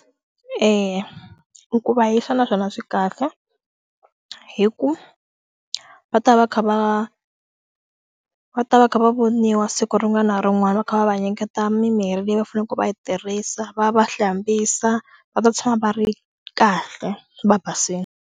Eya, i ku va yi fana swona swi kahle hi ku va ta va kha va va ta va kha va voniwa siku rin'wana na rin'wana va kha va va nyiketa mimirhi leyi va faneleke va yi tirhisa va va hlambisa va ta tshama va ri kahle va basile.